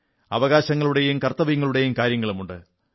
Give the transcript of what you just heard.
അവകാശങ്ങളുടെയും കർത്തവ്യങ്ങളുടെയും കാര്യങ്ങളുമുണ്ട്